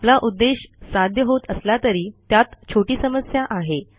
आपला उद्देश साध्य होत असला तरी त्यात छोटी समस्या आहे